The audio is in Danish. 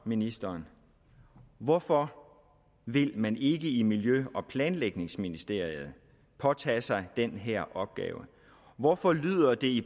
ministeren hvorfor vil man ikke i miljø og planlægningsministeriet påtage sig den her opgave hvorfor lyder det